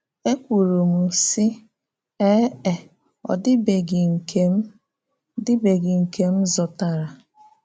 Ekwùrù m, sị: “Ee e, ọ́ dịbeghị nke m dịbeghị nke m zùtárà.”